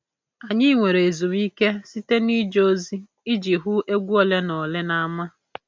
Anyị nwere ezumike site n'ije ozi iji hụ egwu ole na ole n'ámá.